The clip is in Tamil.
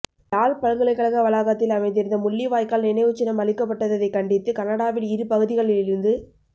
யாழ் பல்கலைக்கழக வளாகத்தில் அமைந்திருந்த முள்ளிவாய்க்கால் நினைவுச் சின்னம் அழிக்கப்பட்டததைக் கண்டித்து கனடாவில் இரு பகுதிகளிலிருந்து